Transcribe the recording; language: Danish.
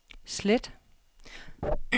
slet